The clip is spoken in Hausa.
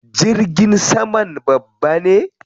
Jirgin saman babba ne?